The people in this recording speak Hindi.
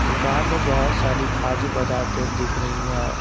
दुकान में बहुत सारी खाद्य पदार्थ दिख रही है।